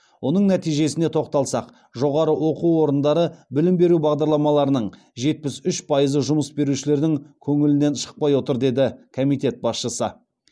оның нәтижесіне тоқталсақ жоғары оқу орындары білім беру бағдарламаларының жетпіс үш пайызы жұмыс берушілердің көңілінен шықпай отыр деді комитет басшысы